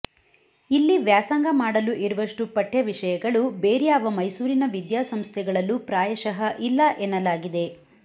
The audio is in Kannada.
ಇಲ್ಲಿ ವ್ಯಾಸಂಗ ಮಾಡಲು ಇರುವಷ್ಟು ಪಠ್ಯ ವಿಷಯಗಳು ಬೇರ್ಯಾವ ಮೈಸೂರಿನ ವಿದ್ಯಾಸಂಸ್ಥೆಗಳಲ್ಲೂ ಪ್ರಾಯಶಃ ಇಲ್ಲ ಎನ್ನಲಾಗಿದೆ